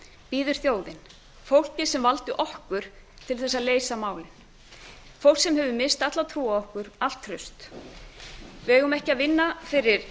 bíður þjóðin fólkið sem valdi okkur til þess að leysa málin fólk sem hefur misst alla trú á okkur allt traust við eigum ekki að vinna fyrir